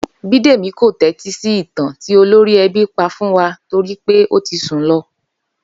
Bídèmí kò tẹ́tí sí ìtàn tí olórí ẹbí pa fún wa torí pé ó ti sùn lọ